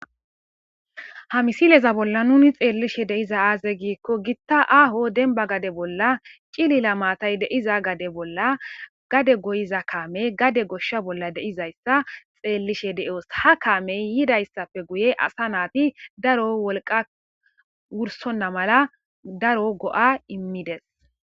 Ha misileza bolla nuni xeellishe deiza aaze giikko gitta aaho denba gade bolla cilila maatay deiza gade bolla gade goyiza kaamey gade goshsha bolla deizayssa xeellishe de'oos ha kaamey yidayssappe guye asa naati daro wolqa wursonna mala daro go'a immides.